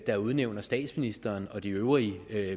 der udnævner statsministeren og de øvrige